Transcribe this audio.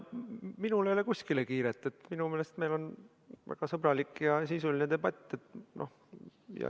Minul ei ole kuskile kiiret, minu meelest meil on väga sõbralik ja sisuline debatt.